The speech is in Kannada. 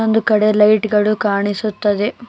ಒಂದು ಕಡೆ ಲೈಟ್ ಗಳು ಕಾಣಿಸುತ್ತದೆ.